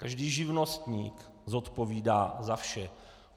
Každý živnostník zodpovídá za vše.